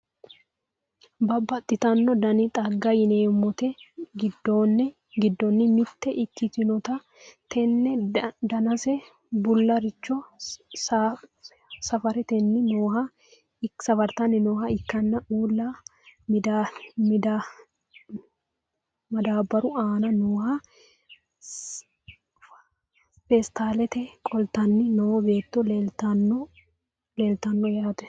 babbaxitino dani xagga yineemmote giddonni mitte ikkitinota tenne danase bullaricho safartanni nooha ikkanna uulla madaabbaru aana nooha feestaalete qoltanni noo beetto leeltanno yaate.